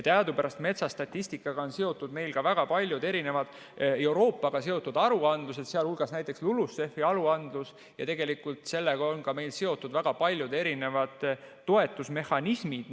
Teadupärast metsastatistikaga on seotud meil ka väga paljud Euroopaga seotud aruandlused, sh näiteks LULUCF-i aruandlus, ja sellega on meil seotud väga paljud erinevad toetusmehhanismid.